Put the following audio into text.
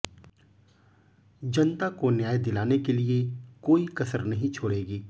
जनता को न्याय दिलाने के लिए कोई कसर नहीं छोड़गी